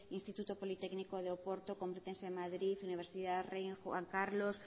instituto politécnico de oporto complutense de madrid universidad rey juan carlos